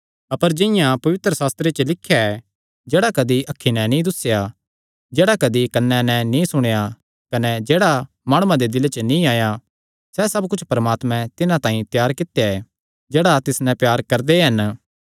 अपर जिंआं पवित्रशास्त्रे च लिख्या ऐ जेह्ड़ा कदी अखीं नैं नीं दुस्सेया जेह्ड़ा कदी कन्नां नैं नीं सुणेया कने जेह्ड़ा माणुआं दे दिले च नीं आया सैह़ सब कुच्छ परमात्मैं तिन्हां तांई त्यार कित्या ऐ जेह्ड़े तिस नैं प्यार करदे हन